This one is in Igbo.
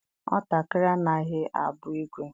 Nwatakịrị anaghị abụ igwe.